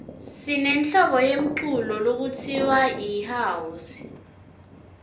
sinehlobo yemculo lekutsiwa yihouse